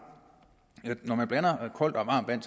når man blander koldt og varmt vand